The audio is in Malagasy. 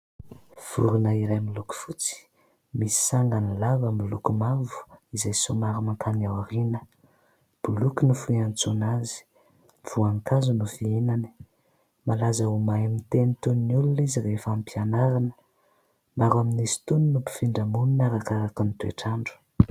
Vorona iray miloko fotsy. Misy sangany lava miloko mavo izay somary makany aoriana. Boloky no fiantsoana azy. Voankazo no fihinany. Malaza ho mahay miteny toin'ny olona izy rehefa hampianarina. Maro amin'izy itony no mifindra monina arakaraka ny toe-trandro.